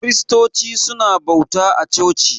Kiristoci su na bauta a coci